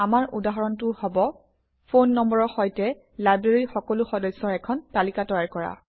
আমাৰ উদাহৰণটো হব - ফোন নম্বৰৰ সৈতে লাইব্ৰেৰীৰ সকলো সদস্যৰ এখন তালিকা তৈয়াৰ কৰা